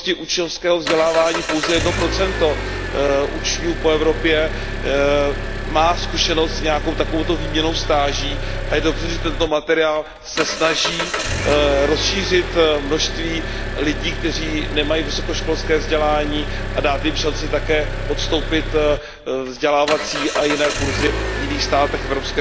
v oblasti učňovského vzdělávání pouze 1 učňů po Evropě má zkušenost s nějakou takovou výměnnou stáží, a je dobře, že tento materiál se snaží rozšířit množství lidí, kteří nemají vysokoškolské vzdělání, a dát jim šanci také podstoupit vzdělávací a jiné kurzy v jiných státech EU.